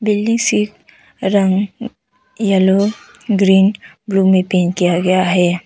Building सिर्फ रंग yellow green blue में पेंट किया गया है।